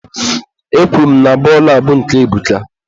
Ekwuru m na bọọlụ a bụ nke Ebuka.